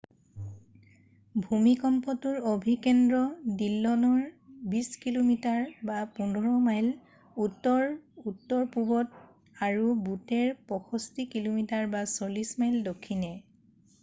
ভূমিকম্পটোৰ অভিকেন্দ্ৰ ডিল্লনৰ ২০ কিমি ১৫ মাইল উত্তৰ-উত্তৰপূৱত আৰু বুটেৰ ৬৫ কিমি৪০ মাইল দক্ষিণে।